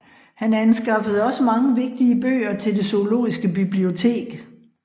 Han anskaffede også mange vigtige bøger til det zoologiske bibliotek